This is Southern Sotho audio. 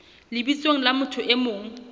lebitsong la motho e mong